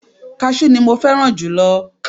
Káṣú ni ẹ̀so tí mo fẹ́ràn jùlọ